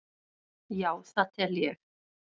Já það tel ég.